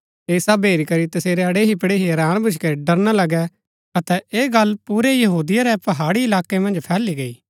ऐह सब हेरी करी तसेरै अड़ेहीपड़ेही हैरान भूच्ची करी डरना लगै अतै ऐह गल्ल पुरै यहूदिया रै पहाड़ी इलाकै मन्ज फैली गई